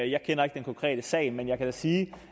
jeg kender ikke den konkrete sag men jeg kan da sige